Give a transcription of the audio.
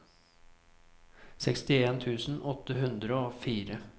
sekstien tusen åtte hundre og fire